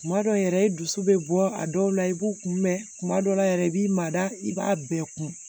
Kuma dɔw yɛrɛ i dusu bɛ bɔ a dɔw la i b'u kun mɛ kuma dɔw la yɛrɛ i b'i mada i b'a bɛɛ kun